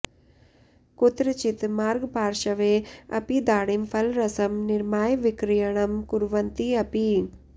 कुत्रचित् मार्गपार्श्वे अपि दाडिमफलरसं निर्माय विक्रयणं कुर्वन्ति अपि